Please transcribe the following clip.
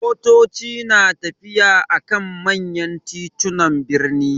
Motoci na tafiya a kan manya titunan birni.